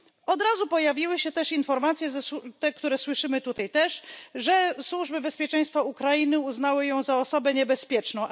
Od razu pojawiły się też informacje te które słyszymy też tutaj że służby bezpieczeństwa Ukrainy uznały ją za osobę niebezpieczną.